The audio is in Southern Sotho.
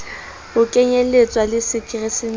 ho kenyelletswa le la keresemese